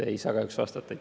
Ei saa kahjuks vastata.